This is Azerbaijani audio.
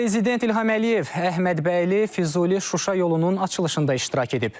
Prezident İlham Əliyev Əhmədbəyli, Füzuli, Şuşa yolunun açılışında iştirak edib.